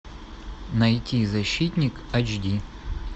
найти защитник айч ди